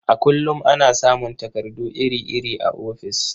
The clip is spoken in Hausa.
A kullum ana samun takardu iri-iri a ofis.